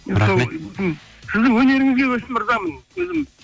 рахмет сіздің өнеріңізге ризамын өзім